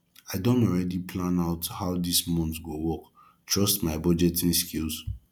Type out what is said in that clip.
i don already plan out how dis month go work trust my budgeting skills